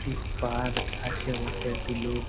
একটি পার্ক আছে বটে একটি লোক--